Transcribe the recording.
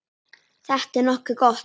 Þetta er nokkuð gott.